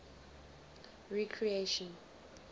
recreation